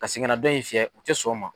Ka segin ka na dɔ in fiyɛ u tɛ sɔn o ma.